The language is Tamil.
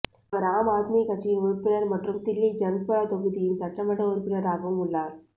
அவர் ஆம் ஆத்மி கட்சியின் உறுப்பினர் மற்றும் தில்லி ஜங்பூரா தொகுதியின் சட்டமன்ற உறுப்பினராகவும் உள்ளார்